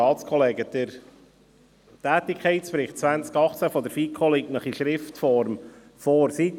Der Tätigkeitsbericht 2018 der FiKo liegt Ihnen in Schriftform vor.